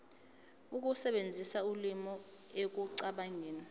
ukusebenzisa ulimi ekucabangeni